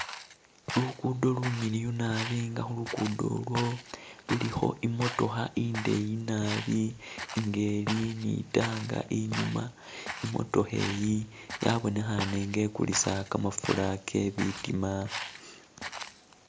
Lugudo lumiliyu nabi nga khu lugudo olwo lulikho i'motokha indeeyi nabi nga ili ni i'tank inyuma. I'motokha iyi yabonekhane nga ikulisa kamafura ke bitima.